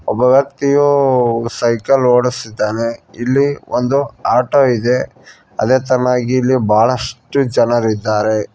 ಒಬ್ಬ ವ್ಯಕ್ತಿಯು ಸೈಕಲ್ ಓಡಿಸುತ್ತಿದ್ದಾನೆ ಇಲ್ಲಿ ಒಂದು ಆಟೋ ಇದೆ ಅದೇ ತರನಾಗಿ ಇಲ್ಲಿ ಬಹಳಷ್ಟು ಜನರಿದ್ದಾರೆ.